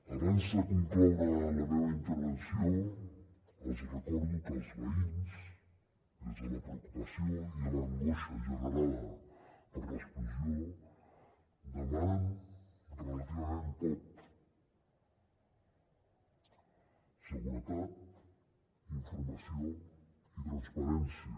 abans de concloure la meva intervenció els recordo que els veïns des de la preocupació i l’angoixa generada per l’explosió demanen relativament poc seguretat informació i transparència